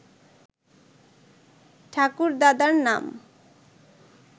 ঠাকুরদাদার নাম